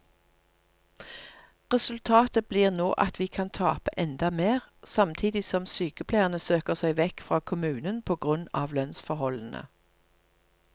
Resultatet blir nå at vi kan tape enda mer, samtidig som sykepleierne søker seg vekk fra kommunen på grunn av lønnsforholdene.